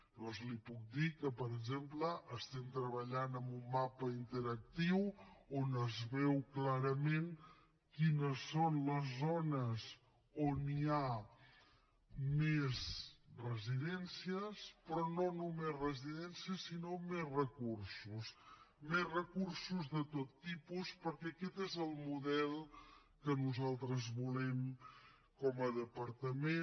llavors li puc dir que per exemple treballem en un mapa interactiu on es veu clarament quines són les zones on hi ha més residències però no només residències sinó més recursos més recursos de tot tipus perquè aquest és el model que nosaltres volem com a departament